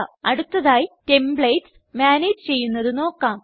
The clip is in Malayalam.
അടുത്തതായി ടെംപ്ലേറ്റ്സ് മാനേജ് ചെയ്യുന്നത് നോക്കാം